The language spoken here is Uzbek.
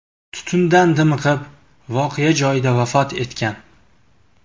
tutundan dimiqib, voqea joyida vafot etgan.